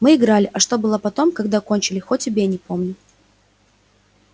мы играли а что было потом когда кончили хоть убей не помню